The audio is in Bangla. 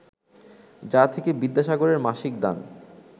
যা থেকে বিদ্যাসাগরের মাসিক দান